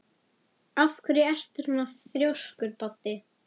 Af hverju ertu svona þrjóskur, Baddi?